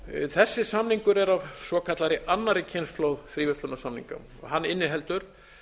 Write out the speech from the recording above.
þessi samningur er af svokallaðri annarri kynslóð fríverslunarsamninga hann inniheldur